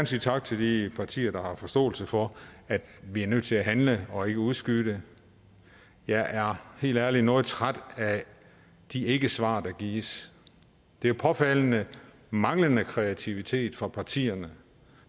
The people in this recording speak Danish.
sige tak til de partier der har forståelse for at vi er nødt til at handle og ikke udskyde det jeg er helt ærligt noget træt af de ikkesvar der gives det er påfaldende manglende kreativitet fra partierne